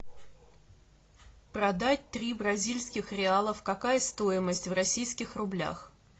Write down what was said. продать три бразильских реалов какая стоимость в российских рублях